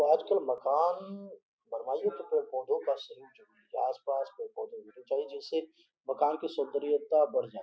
आज कल मकान बनवाइए तो फिर पौधो का सही आसपास पेड़ पौधे होने चाहिए जिससे मकान की सुन्दरियाता बढ़ जाये।